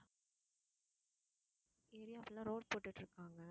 area full ஆ road போட்டுட்டு இருக்காங்க.